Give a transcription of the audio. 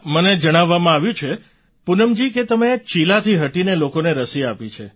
મને જણાવવામાં આવ્યું છે પૂનમજી કે તમે ચીલાથી હટીને લોકોને રસી આપી છે